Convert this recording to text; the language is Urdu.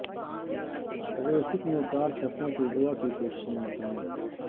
ٹریفک میں کار پھنسنے سے اغواء کی کوشش ناکام